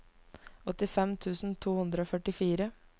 åttifem tusen to hundre og førtifire